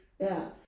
Ja